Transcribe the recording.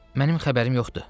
Mənim xəbərim yoxdur.